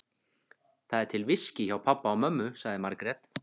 Það er til viskí hjá pabba og mömmu, sagði Margrét.